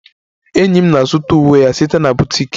Enyi m na-azụta uwe ya site na boutique